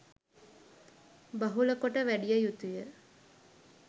බහුලකොට වැඩිය යුතු ය